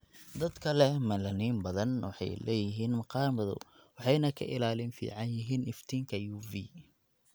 Dadka leh melanin badan waxay leeyihiin maqaar madow waxayna ka ilaalin fiican yihiin iftiinka UV.